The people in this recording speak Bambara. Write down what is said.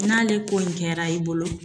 N'ale kɔni kɛra i bolo